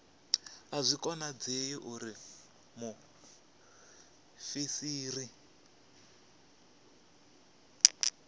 a zwi konadzei uri muofisiri